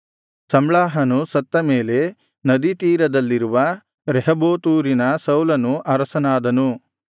ಸಮ್ಲಾಹನು ಸತ್ತ ಮೇಲೆ ನದಿ ತೀರದಲ್ಲಿರುವ ರೆಹೋಬೋತೂರಿನ ಸೌಲನು ಅರಸನಾದನು